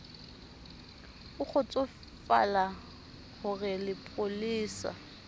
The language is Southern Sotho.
o kgotsofale ho re lepolesa